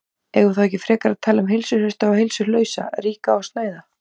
Eigum við þá ekki frekar að tala um heilsuhrausta og heilsulausa, ríka og snauða?